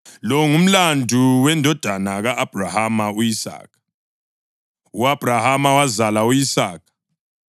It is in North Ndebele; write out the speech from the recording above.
Lo ngumlando wendodana ka-Abhrahama u-Isaka. U-Abhrahama wazala u-Isaka,